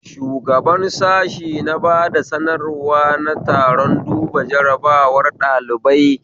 Shugaban sashe ya bada sanarwa na taron duba jarabawar ɗalibai